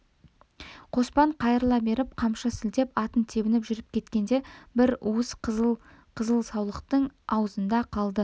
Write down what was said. қоспан қайырыла беріп қамшы сілтеп атын тебініп жүріп кеткенде бір уыс қыл қызыл саулықтың аузында қалды